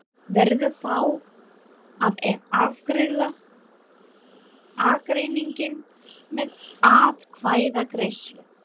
Verður þá að afgreiða ágreininginn með atkvæðagreiðslu.